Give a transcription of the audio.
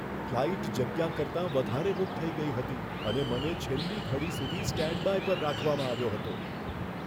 Flight જગ્યા કરતાં વધારે બુક થઈ ગઈ હતી અને મને છેલ્લી ઘડી સુધી સ્ટેન્ડબાય પર રાખવામાં આવ્યો હતો.